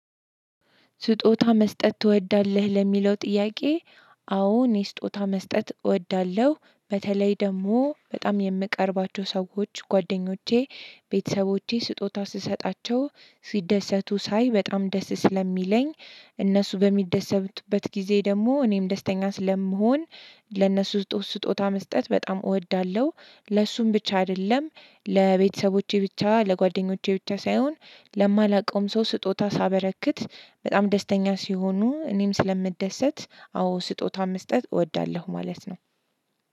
ስጦታ መስጠት ትወዳለህ? ለሚለው ጥያቄ አዎ እኔ ስጦታ መስጠት እወዳለሁ። በተለይ ደግሞ በጣም የምቀርባቸው ሰዎች ጓደኞቼ፣ ቤተሰቦቼ ስጦታ ስሰጣቸው ሲደሰቱ ሳይ በጣም ደስ ስለሚለኝ እነሱ በሚደሰብበት ጊዜ ደግሞ እኔም ደስተኛ ስለምሆን ለእነሱ ስጦታ መስጠት በጣም እወዳለሁ። ለእሱም ብቻ አይደለም። ለቤተሰቦቼ ብቻ ለጓደኞቼ ብቻ ሳይሆን ለማላውቀውም ሰው ስጦታ ሳበረክት በጣም ደስተኛ ሲሆኑ እኔም ስለምደሰት አዎ ስጦታ መስጠት እወዳለሁ ማለት ነው።